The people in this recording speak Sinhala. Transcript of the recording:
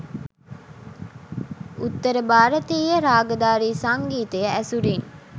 උත්තර භාරතීය රාගධාරී සංගීතය ඇසුරින්